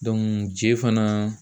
je fana